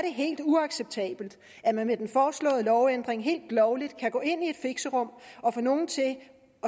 helt uacceptabelt at man med den foreslåede lovændring helt lovligt kan gå ind i et fixerum og få nogle til at